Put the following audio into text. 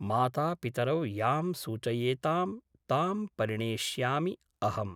मातापितरौ यां सूचयेतां तां परिणेष्यामि अहम् ।